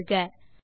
ஐ தேர்க